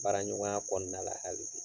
Baara ɲɔgɔnya kɔnɔna la hali bi.